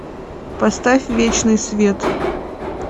поставь вечный свет